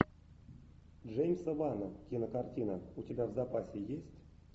джеймса вана кинокартина у тебя в запасе есть